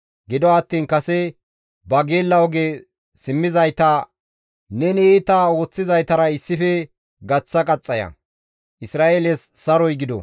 Gido attiin kase ba geella oge simmizayta neni iita ooththizaytara issife gaththa qaxxaya; Isra7eeles saroy gido!